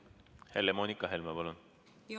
Helle-Moonika Helme, palun!